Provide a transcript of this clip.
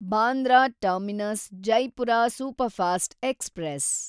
Bandra terminus Jaipur superfast express